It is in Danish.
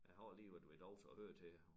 Jeg har lige været ved æ doktor og hørt til